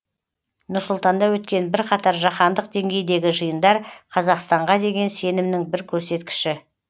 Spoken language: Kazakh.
нұр сұлтанда өткен бірқатар жаһандық деңгейдегі жиындар қазақстанға деген сенімнің бір көрсеткіші